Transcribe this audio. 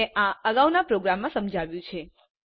મેં આ અગાઉના પ્રોગ્રામ સમજાવ્યું છે